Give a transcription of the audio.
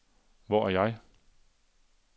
Hvor er jeg